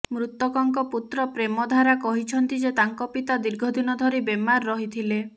ମୃତକଙ୍କ ପୁତ୍ର ପ୍ରେମ ଧାରା କହିଛନ୍ତି ଯେ ତାଙ୍କ ପିତା ଦୀର୍ଘ ଦିନ ଧରି ବେମାର ରହିଥିଲେ